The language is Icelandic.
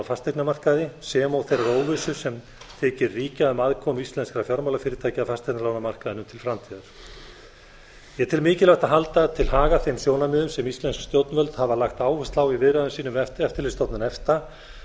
fasteignamarkaði sem og þeirrar óvissu sem þykir ríkja um aðkomu íslenskra fjármálafyrirtækja að fasteignalánamarkaði til framtíðar ég tel mikilvægt að hala til haga þeim sjónarmiðum sem íslensk stjórnvöld hafa lagt áherslu á í viðræðum sínum við eftirlitsstofnun efta